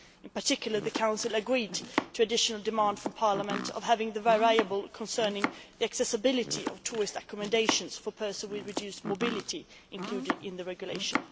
In particular, the Council agreed to an additional demand from Parliament of having the variable concerning the accessibility of tourist accommodation for persons with reduced mobility included in the regulation.